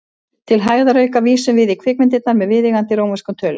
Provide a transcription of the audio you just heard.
Til hægðarauka vísum við í kvikmyndirnar með viðeigandi rómverskum tölum.